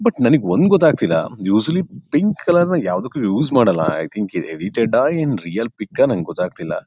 But ನನಿಗೆ ಒಂದ್ ಗೊತ್ತಾಗತಿಲ್ಲಾ ಯುಶಲಿ ಪಿಂಕ್ ಕಲರ್ ನ ಯಾವುದಕ್ಕೂ ಯೂಸ್ ಮಾಡಲ್ಲಾ ಐ ಥಿಂಗ್ ಏನ್ ರಿಯಲ್ ಪಿಕ್ ಅಹ್ ನನಿಗೆ ಗೊತ್ತಾಗತಿಲ್ಲಾ .